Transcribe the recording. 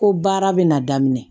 Ko baara bɛ na daminɛ